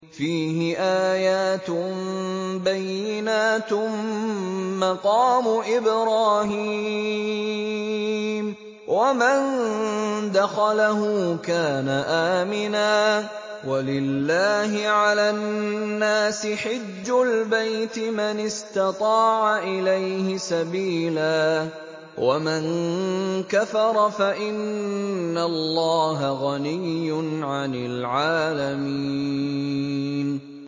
فِيهِ آيَاتٌ بَيِّنَاتٌ مَّقَامُ إِبْرَاهِيمَ ۖ وَمَن دَخَلَهُ كَانَ آمِنًا ۗ وَلِلَّهِ عَلَى النَّاسِ حِجُّ الْبَيْتِ مَنِ اسْتَطَاعَ إِلَيْهِ سَبِيلًا ۚ وَمَن كَفَرَ فَإِنَّ اللَّهَ غَنِيٌّ عَنِ الْعَالَمِينَ